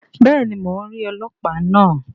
Béèni, Mó n ríi ọlọpa náà